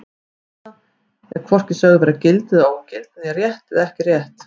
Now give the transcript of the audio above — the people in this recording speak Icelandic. Tilleiðsla er er hvorki sögð vera gild eða ógild né rétt eða ekki rétt.